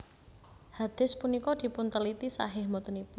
Hadits punika dipunteliti shahih botenipun